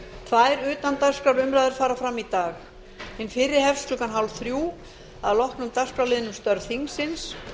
tvær utandagskrárumræður fara fram í dag hin fyrri hefst klukkan hálfþrjú að loknum dagskrárliðnum um störf þingsins